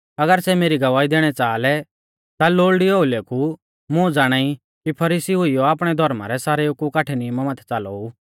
अगर सै मेरी गवाही दैणी च़ाहा लै ता लोल़डी ओउलै कु मुं ज़ाणाई कि फरीसी हुइयौ आपणै धौर्मा रै सारेऊ कु काठै नियमा माथै च़ालोऊ